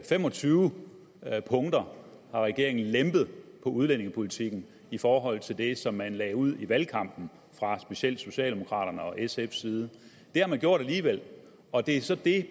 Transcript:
fem og tyve punkter hvor regeringen har lempet udlændingepolitikken i forhold til det som man lagde ud med i valgkampen fra specielt socialdemokraterne og sfs side det har man gjort alligevel og det er så